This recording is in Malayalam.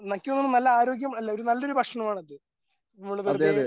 എനിക്ക് തോന്നുന്നു നല്ല ആരോഗ്യം അല്ല നല്ലൊരു ഭക്ഷണമാണത് നമ്മള് വെറുതെ